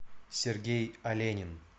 сергей оленин